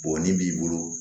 Bɔnni b'i bolo